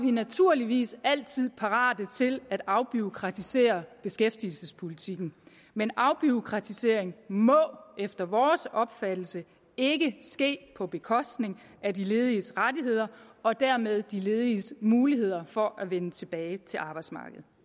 vi naturligvis altid parate til at afbureaukratisere beskæftigelsespolitikken men afbureaukratisering må efter vores opfattelse ikke ske på bekostning af de lediges rettigheder og dermed de lediges muligheder for at vende tilbage til arbejdsmarkedet